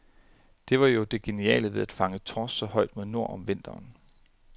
Det var jo det geniale ved at fange torsk så højt mod nord, om vinteren.